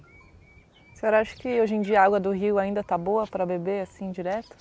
A senhora acha que, hoje em dia, a água do rio ainda tá boa para beber assim, direto?